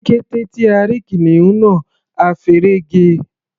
Ní kété tí a rí kìnìún náà, a feré ge.